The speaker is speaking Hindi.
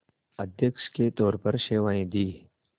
अध्यक्ष के तौर पर सेवाएं दीं